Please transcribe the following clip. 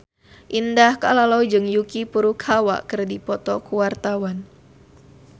Indah Kalalo jeung Yuki Furukawa keur dipoto ku wartawan